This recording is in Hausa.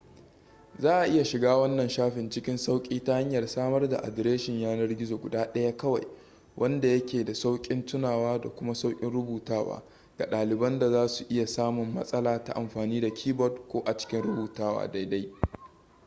za a iya shiga wannan shafin cikin sauƙi ta hanyar samar da adireshin yanar-gizo guda daya kawai wanda ya ke da sauƙin tunawa da kuma sauƙin rubutawa ga ɗaliban da za su iya samun matsala ta amfani da keyboard ko a cikin rubutawa daidai